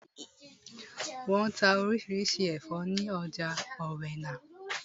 Wọ́n n ta orísirísi àwọn ẹ̀fọ́ ní ọjà ọ̀wẹnà